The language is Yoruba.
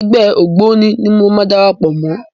Ẹgbẹ́ ògbóni ni màá darapọ̀ mọ́.